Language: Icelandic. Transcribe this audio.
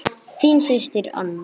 Þín systir Anna.